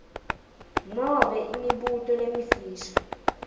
nobe imibuto lemifisha